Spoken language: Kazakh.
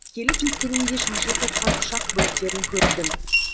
келіп жеткенімде шашылып жатқан ұшақ бөліктерін көрдім